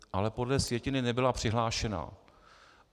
Ale podle sjetiny nebyla přihlášena.